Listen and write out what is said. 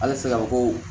Halisa mɔgɔw